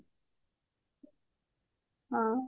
ହଁ